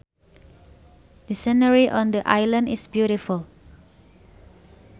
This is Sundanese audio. The scenery on the island is beautiful